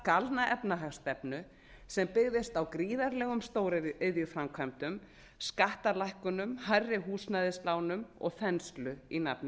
galna efnahagsstefnu sem byggðist á gríðarlegum stóriðjuframkvæmdum skattalækkunum hærri húsnæðislánum og þenslu í nafni